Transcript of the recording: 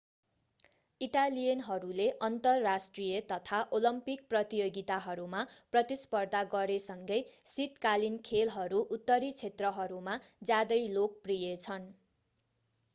इटालियनहरूले अन्तर्राष्ट्रिय तथा ओलम्पिक प्रतियोगिताहरूमा प्रतिस्पर्धा गरे सँगै शीतकालीन खेलहरू उत्तरी क्षेत्रहरूमा ज्यादै लोकप्रिय छन्